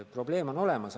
Probleem on olemas.